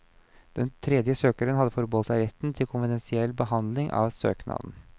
Den tredje søkeren har forbeholdt seg retten til konfidensiell behandling av søknaden.